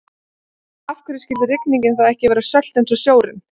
En af hverju skyldi rigningin þá ekki vera sölt eins og sjórinn?